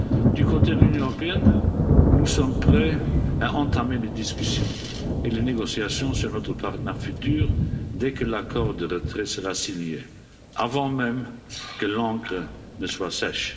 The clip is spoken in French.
Du côté de l'Union européenne, nous sommes prêts à entamer des discussions et des négociations sur notre partenariat futur dès que l'accord de retrait sera signé, avant même que l'encre ne soit sèche.